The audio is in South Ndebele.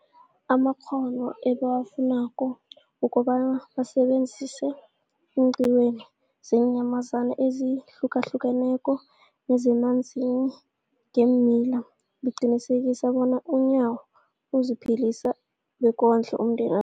amakghono ebawafunako ukobana basebenze eenqiwini zeenyamazana ezihlukahlukeneko nezemanzini nangeemila, liqinisekisa bona uNyawo aziphilise bekondle nomndena